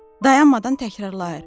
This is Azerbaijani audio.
Dayanmadan təkrarlayır.